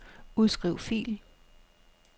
Udskriv fil.